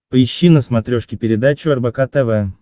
поищи на смотрешке передачу рбк тв